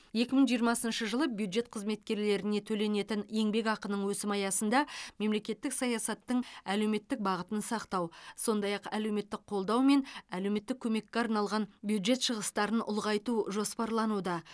екі мың жиырмасыншы жылы бюджет қызметкерлеріне төленетін еңбекақының өсімі аясында мемлекеттік саясаттың әлеуметтік бағытын сақтау сондай ақ әлеуметтік қолдау мен әлеуметтік көмекке арналған бюджет шығыстарын ұлғайту жоспарлануда